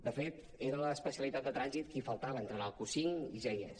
de fet era l’especialitat de trànsit qui faltava entrar en el q5 i ja hi és